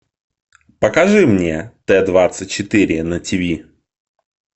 покажи мне т двадцать четыре на тиви